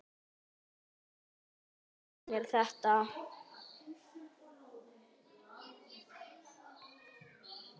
Af hverju býðurðu mér þetta?